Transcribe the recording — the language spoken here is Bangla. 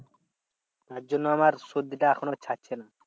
তার জন্য আমার সর্দিটা এখনো ছাড়ছে না।